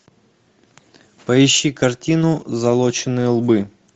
поищи картину залоченные лбы